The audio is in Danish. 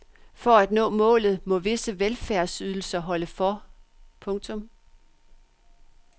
For at nå målet må visse velfærdsydelser holde for. punktum